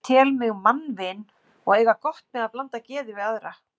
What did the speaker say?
Ég tel mig mannvin og eiga gott með að blanda geði við aðra.